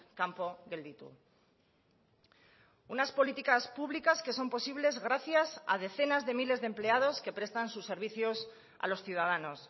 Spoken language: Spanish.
kanpo gelditu unas políticas públicas que son posibles gracias a decenas de miles de empleados que prestan sus servicios a los ciudadanos